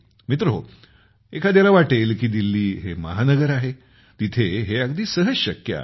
मित्रहो एखाद्याला वाटेल की दिल्ली हे महानगर आहे तिथे हे अगदी सहज शक्य आहे